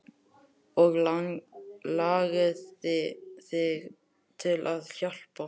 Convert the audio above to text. Og langaði þig til að hjálpa?